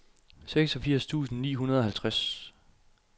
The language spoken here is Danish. seksogfirs tusind ni hundrede og halvtreds